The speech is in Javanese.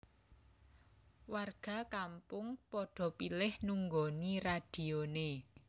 Warga kampung padha pilih nunggoni radione